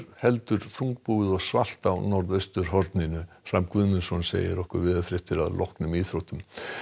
heldur þungbúið og svalt á norðausturhorninu Hrafn Guðmundsson segir veðurfréttir að loknum íþróttum og